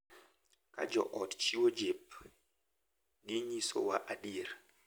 Ka jo ot chiwo jip, ginyisowa adier,